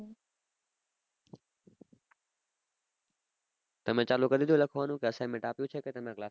તમે ચાલુ કર દીઘું લખવાનું assignment આપ્યું છે તમને class માં